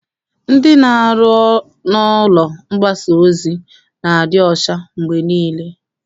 Ndị na-arụ n'ụlọ mgbasa ozi na-adị ọcha mgbe niile.